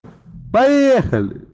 поехали